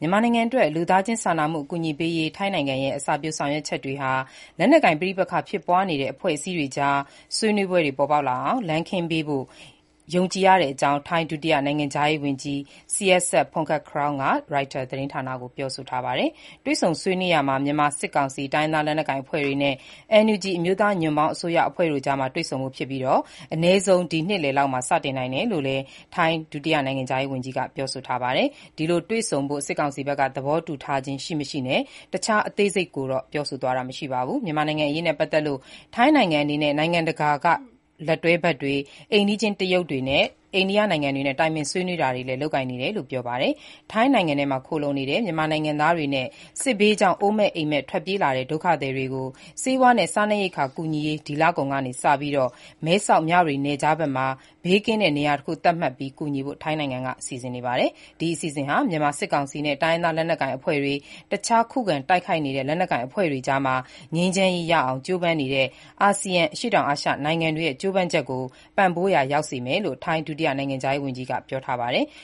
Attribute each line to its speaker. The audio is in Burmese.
Speaker 1: မြန်မာနိုင်ငံအတွက် လူသားချင်းစာနာမှု အကူအညီပေးရေး ထိုင်းနိုင်ငံရဲ့ အစပျိုးဆောင်ရွက်ချက်တွေဟာ လက်နက်ကိုင် ပဋိပက္ခဖြစ်ပွားနေတဲ့ အဖွဲ့အစည်းတွေကြား ဆွေးနွေးပွဲတွေ ပေါ်ပေါက်လာအောင် လမ်းခင်းပေးရာရောက်ဖို့ ယုံကြည်တဲ့အကြောင်း ထိုင်း ဒုတိယ နိုင်ငံခြားရေးဝန်ကြီး Sihasak Phuangketkeow က ရိုက်တာ သတင်းဌာနကို ပြောဆိုပါတယ်။ တွေ့ဆုံဆွေးနွေးရာမှာ မြန်မာစစ်ကောင်စီ၊ တိုင်းရင်းသားလက်နက်ကိုင်အဖွဲ့တွေနဲ့ NUG အမျိုးသားညီညွတ်ရေးအစိုးရတို့ အကြား တွေ့ဆုံဖို့ဖြစ်ပြီး အနည်းဆုံး ဒီနှစ်လယ်လောက်မှာ စတင်နိုင်တယ်လို့လည်း ထိုင်း ဒုတိယနိုင်ငံခြားရေးဝန်ကြီးက ပြောပါတယ်။ ဒီလို တွေ့ဆုံဖို့ စစ်ကောင်စီဘက်က သဘောတူထားခြင်းရှိမရှိနဲ့ တခြား အသေးစိတ်ကိုတော့ ပြောဆိုသွားခြင်း မရှိပါဘူး။ မြန်မာနိုင်ငံအရေးနဲ့ ပတ်သက်လို့ ထိုင်းနိုင်ငံအနေနဲ့ နိုင်ငံတကာ လက်တွဲဘက်တွေ၊ အိမ်နီချင်း တရုတ်နဲ့ အိန္ဒိယနိုင်ငံတွေနဲ့ တိုင်ပင်ဆွေးနွေး လုပ်ကိုင်နေတယ်လို့လည်း ပြောပါတယ်။ ထိုင်းနိုင်ငံထဲမှာ ခိုလှုံနေတဲ့ မြန်မာနိုင်ငံသားတွေနဲ့ စစ်ဘေးကြောင့် အိုးမဲ့အိမ့်မဲ့ ထွက်ပြေးလာတဲ့ ဒုက္ခသည်တွေကို ဆေးဝါးနဲ့ စားနပ်ရိက္ခာ ကူညီရေး ဒီလကုန်က စပြီး မဲဆောက်မြဝတီနယ်ခြားမှာ ဘေးကင်းတဲ့ နေရာတခု သတ်မှတ်ပြီး ကူညီဖို့ ထိုင်းနိုင်ငံက စီစဉ်နေပါတယ်။ ဒီအစီအစဉ်ဟာ မြန်မာစစ်ကောင်စီနဲ့ တိုင်းရင်းသားလက်နက်ကိုင်အဖွဲ့တွေ၊ တခြား ခုခံတိုက်နေတဲ့ လက်နက်ကိုင်အဖွဲ့တွေအကြား ငြိမ်းချမ်းရေးရအောင် ကြိုးပမ်းနေတဲ့ အာဆီယံ အရှေ့တောင်အာရှနိုင်ငံတွေရဲ့ ကြိုးပမ်းချက်ကို ပံ့ပိုးရာရောက်စေမယ်လို့ ထိုင်း ဒုတိယ နိုင်ငံခြားရေးဝန်ကြီးက ပြောပါတယ်။